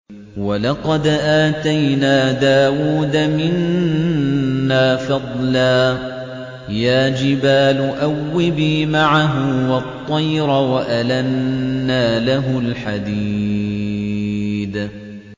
۞ وَلَقَدْ آتَيْنَا دَاوُودَ مِنَّا فَضْلًا ۖ يَا جِبَالُ أَوِّبِي مَعَهُ وَالطَّيْرَ ۖ وَأَلَنَّا لَهُ الْحَدِيدَ